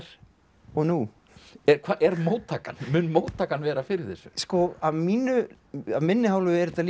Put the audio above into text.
og nú mun móttakan mun móttakan vera fyrir þessu sko af minni af minni hálfu er þetta líka